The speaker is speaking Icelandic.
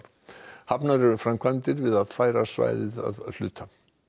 hafnar eru framkvæmdir við að færa svæðið að hluta